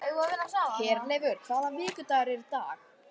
Herleifur, hvaða vikudagur er í dag?